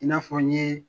I n'a fɔ n ye